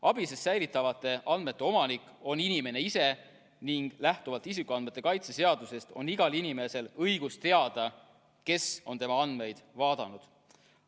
ABIS-es säilitatavate andmete omanik on inimene ise ning lähtuvalt isikuandmete kaitse seadusest on igal inimesel õigus teada, kes on tema andmeid vaadanud.